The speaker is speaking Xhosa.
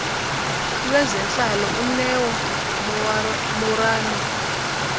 lwezentlalo uneo moerane